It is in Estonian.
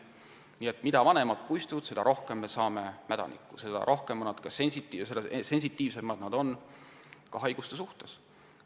Nii et mida vanemad puistud, seda rohkem on mädanikuga puitu ja seda tundlikumad on puud ka haiguste suhtes.